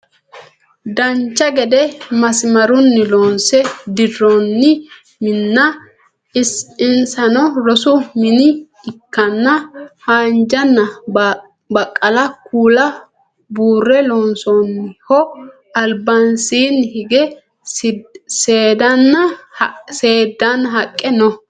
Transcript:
dancha gede masimarunni loonse dirroonni minna insano rosu mine ikkanna haanjanna baqqala kuula buurre loonsoonniho albasiinni hige seeddaanna haqqe no